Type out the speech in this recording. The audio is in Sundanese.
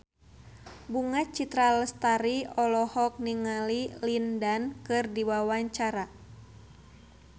Bunga Citra Lestari olohok ningali Lin Dan keur diwawancara